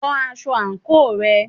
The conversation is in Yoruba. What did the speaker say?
Wọ aṣọ àǹkóò rẹ.